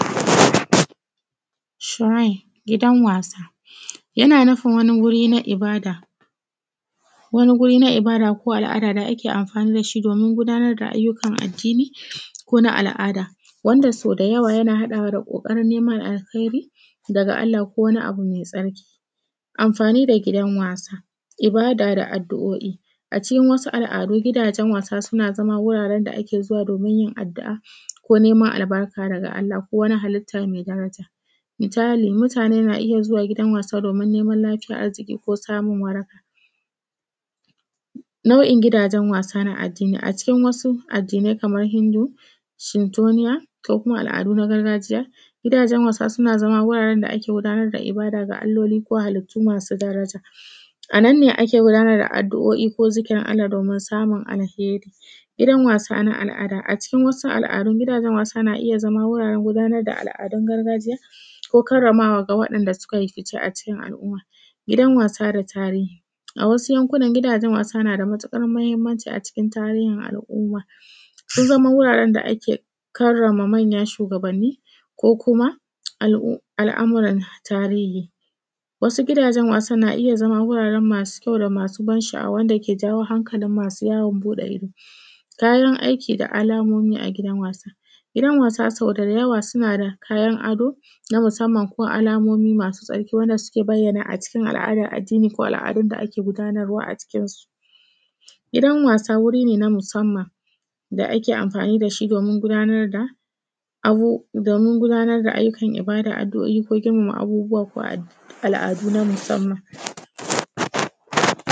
Shurain gidan wasa yana nufin wani wuri na ibada, wani wuri na ibada ko na al’ada da ake amfani da shi domin gudanar da ayyukan addini ko na al’ada wanda sodayawa yana haɗawa da ƙoƙarin niman alkairi daga Allah ko wani abu me tsarki. Amfani da gidan wasa, ibada da addu’o’i, a cikin wasu al’adu gidajen wasa suna zama wuraren da ake zuwa domin yin addu’a ko niman albarka daga Allah ko wani hallita me daraja misali mutane na zuwa gidan wasa domin niman lafiya a jiki ko samun waraka. Na’u’in gidajen wasa na addinai kaman Hindu, Suntoniya ko kuma wani al’adu na gargajiya, gidajen wasa suna zama wajen gabatar da ibadu da Alloli ko kuma hallitu masu daraja a nan ne ake gudanar da addu’o’i ko zikirin Alla domin samun alheri. Gidan wasa na al’ada, a cikin wasu al’ada gidan wasa yana iya zama wuraren gudanar da al’adun gargajiya ko karrama wa waɗanda suka fi a cikin al’umma. Gidan wasa da tarihir a wasu yankunan gidajen wasa tana da matuƙar mahinmanci a cikin tarihin al’umma sun zama wuraren da ke karrama manya shugabanni ko kuma al’amura na tahiri, wasu gidajen suna iya zama masu kyau da masu ban sha’awa wanda ke jawo hankalin masu yawon fuɗe ido. Tsarin aiki da alamomi a gidan wasanni, gidan wasa sodayawa suna da kayan ado na musamman ko alamomi masu tsarki wanda suke bayyana a cikin al’adan addini ko al’adan da ake gudanarwa a cikin su gidan wasa wuri ne na musamman da ake amfani da shi domin gudanar da abu domin gudanar da ayyukan ibada adu’o’i ko irmama abubuwa ko al’adu na musamman.